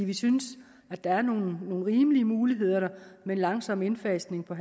vi synes at der er nogle rimelige muligheder der med langsom indfasning på